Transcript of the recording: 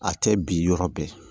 A tɛ bi yɔrɔ bɛɛ